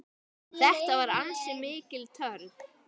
Þetta var ansi mikil törn.